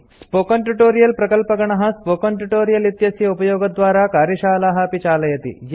spoken tutorial प्रकल्पगणः project टीम160 spoken tutorial इत्यस्य उपयोगद्वारा कार्यशालाः अपि चालयति